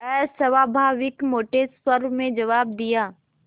अस्वाभाविक मोटे स्वर में जवाब दिया